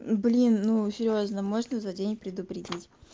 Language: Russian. блин ну серьёзно можно за день предупредить